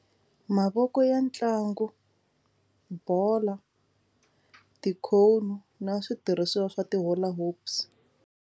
Mavoko ya ntlangu, bolo, ti-cone na switirhisiwa swa ti-hula hoops.